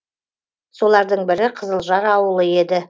солардың бірі қызылжар ауылы еді